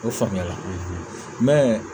O faamuya la